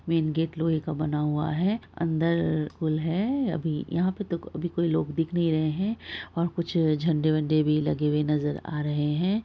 Main gate लोहे का बना हुआ है अंदर पुल है अभी यहाँ पे तो अभी लोग दिख नही रहे हैं । यहाँ पे कुछ झंडे वडे भी लगे हुए नजर आ रहे हैं।